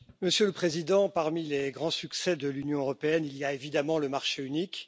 Monsieur le Président, parmi les grands succès de l'Union européenne, il y a évidemment le marché unique.